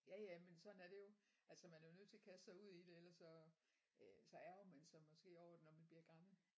Ja ja men sådan er det jo altså man er jo nødt til at kaste sig ud i det ellers så øh så ærgrer man sig måske over det når man bliver gammel